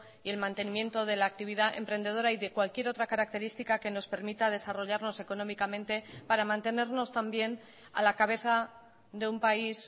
y el mantenimiento de la actividad emprendedora y de cualquier otra característica que nos permita desarrollarnos económicamente para mantenernos también a la cabeza de un país